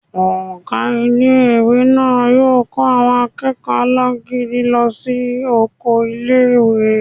Ọgá ilé-ìwé náà yóò kó àwọn akẹ́kọ̀ọ́ alágídí náà lọ sí oko ilé-ìwé